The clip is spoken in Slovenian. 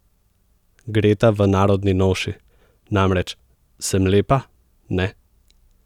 Greta v narodni noši namreč: "Sem lepa, ne?